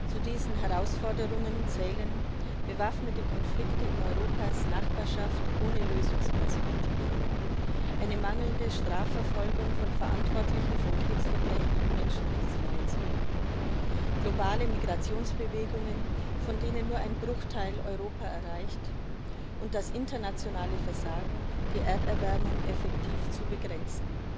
Zu diesen Herausforderungen zählen bewaffnete Konflikte in Europas Nachbarschaft ohne Lösungsperspektive, eine mangelnde Strafverfolgung von Verantwortlichen von Kriegsverbrechen und Menschenrechtsverletzungen, globale Migrationsbewegungen, von denen nur ein Bruchteil Europa erreicht, und das internationale Versagen, die Erderwärmung effektiv zu begrenzen.